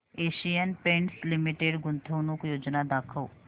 Asian Paints limited गुंतवणूक योजना दाखव